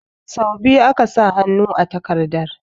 Sau biyu aka sa hannu a takardar